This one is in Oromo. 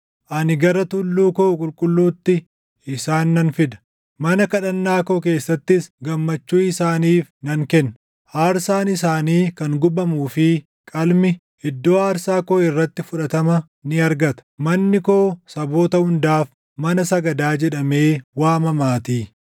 ani gara tulluu koo qulqulluutti isaan nan fida; mana kadhannaa koo keessattis gammachuu isaaniif nan kenna. Aarsaan isaanii kan gubamuu fi qalmi, iddoo aarsaa koo irratti fudhatama ni argata; manni koo saboota hundaaf, mana sagadaa jedhamee waamamaatii.”